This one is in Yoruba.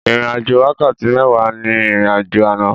Ìrìn àjò wákàtí méwàá ní ìrìn àjò àná.